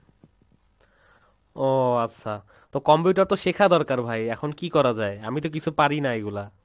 ওহ আচ্ছা, তো Computer তো শিখা দরকার ভাই, এখন কী করা যায়? আমি তো কিছু পারি না এগুলা।